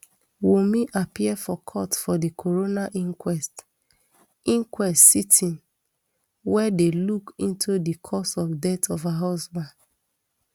wunmi appear for court for di coroner inquest inquest sitting wey dey look into di cause of death of her husband